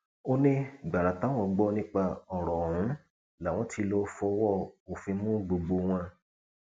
ó ní gbàrà táwọn gbọ nípa ọrọ ọhún làwọn tí lóò fọwọ òfin mú gbogbo wọn